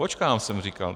Počkám, jsem říkal.